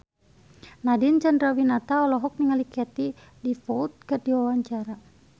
Nadine Chandrawinata olohok ningali Katie Dippold keur diwawancara